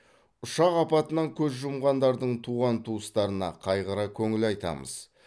ұшақ апатынан көз жұмғандардың туған туыстарына қайғыра көңіл айтамыз